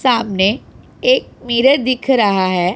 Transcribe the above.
सामने एक मिरर दिख रहा है।